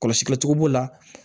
Kɔlɔsili cogo b'o la